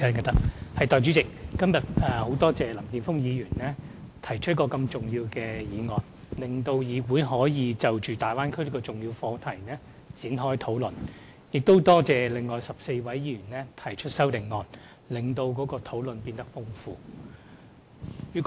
代理主席，很多謝林健鋒議員今天提出一個這麼重要的議案，讓議員可就大灣區這個重要課題展開討論，亦多謝另外14位議員提出修正案，令討論內容變得更豐富。